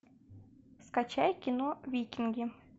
скачай кино викинги